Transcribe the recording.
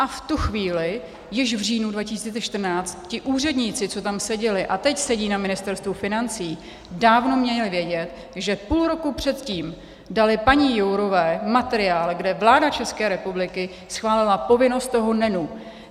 A v tu chvíli, již v říjnu 2014, ti úředníci, co tam seděli a teď sedí na Ministerstvu financí, dávno měli vědět, že půl roku předtím dali paní Jourové materiál, kde vláda České republiky schválila povinnost toho NENu.